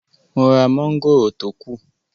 Mo ra mọ́ngòrò tó kù